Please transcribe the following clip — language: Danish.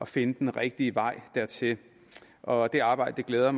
finde den rigtige vej dertil og det arbejde glæder